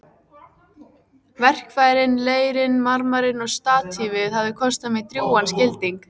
Verkfærin, leirinn, marmarinn og statífið hafa kostað mig drjúgan skilding.